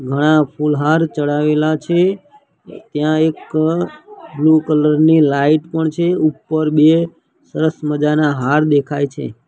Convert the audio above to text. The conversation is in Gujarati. ઘણા ફૂલ હાર ચડાવેલા છે ત્યાં એક બ્લુ કલર ની લાઈટ પણ છે ઉપર બે સરસ મજાના હાર દેખાય છે.